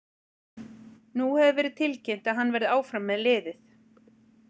Nú hefur verið tilkynnt að hann verði áfram með liðið.